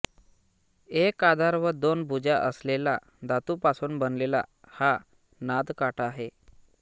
एक आधार व दोन भुजा असलेला धातूपासून बनलेला हा नादकाटा आहे